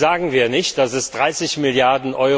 Warum sagen wir nicht, dass es 30 Mrd.